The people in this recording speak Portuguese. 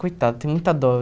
Coitada, tenho muita dó.